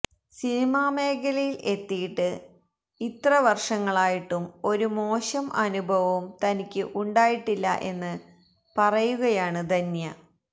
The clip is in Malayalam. സിനിമാ മേഖലയില് എത്തിയിട്ട് ഇത്ര വര്ഷങ്ങളായിട്ടും ഒരു മോശം അനുഭവവും തനിക്ക് ഉണ്ടായിട്ടില്ല എന്ന് പറയുകയാണ് ധന്യ